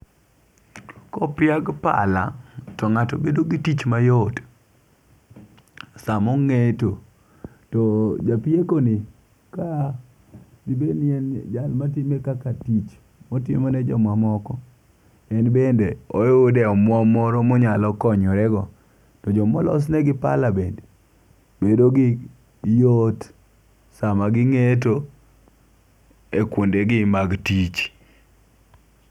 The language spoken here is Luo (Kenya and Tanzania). Kopiag pala to ng'ato bedo gi tich mayot samo ong'eto to japieko ni ka dibed ni en jal matime kaka tich otimo ne jomamoko en bende oyude omwom moro monyalo konyore go. To jomolos ne gi pala bedo gi yot sama ging'eto e kuonde gi mag tich.